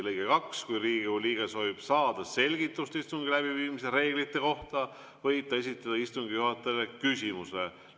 " Lõige 2: "Kui Riigikogu liige soovib saada selgitust istungi läbiviimise reeglite kohta, võib ta esitada istungi juhatajale küsimuse.